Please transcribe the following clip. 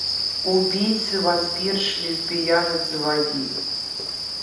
убийцы вампирш лесбиянок заводи